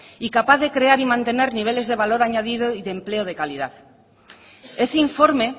y capaz de crear y mantener niveles de valor añadido y de empleo de calidad ese informe